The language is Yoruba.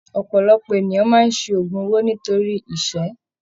Ọpọlọpọ ènìyàn máa n se ogún owó nítorí ìṣẹ́.